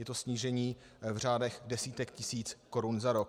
Je to snížení v řádech desítek tisíc korun za rok.